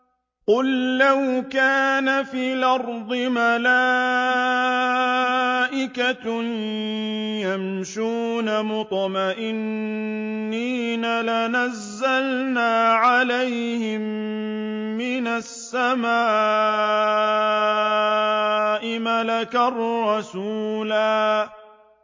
قُل لَّوْ كَانَ فِي الْأَرْضِ مَلَائِكَةٌ يَمْشُونَ مُطْمَئِنِّينَ لَنَزَّلْنَا عَلَيْهِم مِّنَ السَّمَاءِ مَلَكًا رَّسُولًا